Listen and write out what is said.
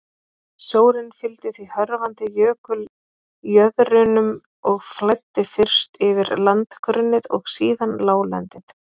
Sjórinn fylgdi því hörfandi jökuljöðrunum og flæddi fyrst yfir landgrunnið og síðan láglendið.